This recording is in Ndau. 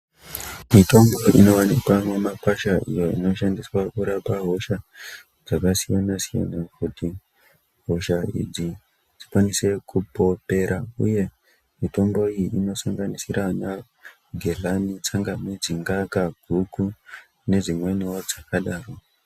Mitombo inowanikwa mumakwasha iyo inoshandiswa kurapa hosha dzakasiyana-siyana, kuti hosha idzi dzikwanise kupo kupera. Mitombo iyo inosanganisira anagedhlani, tsangamidzi, ngaka, guku, nedzimweniwo dzakadaro.